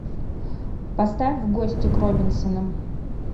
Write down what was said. поставь в гости к робинсонам